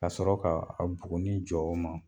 Ka sɔrɔ ka buguni jɔ o ma